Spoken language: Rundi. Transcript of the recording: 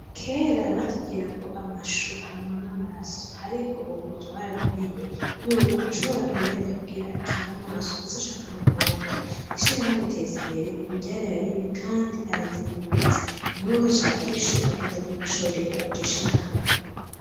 Kera batubwira ko amashu anywana amaraso ariko ubu twarabimenye yuko ushobora kuyarya kugira akinge amaso ndetse ushaka no kwonda. Ishirahamwe iteza imbere ubu ryarayarimye kandi arazimbutse, umuntu wese ashaka ishu agende gucorera iryo shirahamwe.